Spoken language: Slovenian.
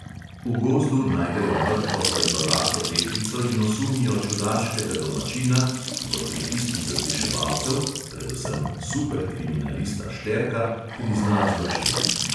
V gozdu najdejo mrtvo svetlolaso deklico in osumijo čudaškega domačina, ki pod pritiski zasliševalcev, predvsem "super kriminalista" šterka, prizna zločin.